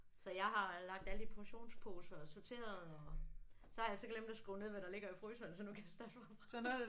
Så jeg har lagt alt i portionsposer og sorteret og. Så har jeg så glemt at skrive ned hvad der ligger i fryseren så nu kan jeg starte forfra